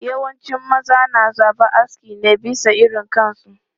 Yawancin maza na zaben aski ne bisa irin kansu.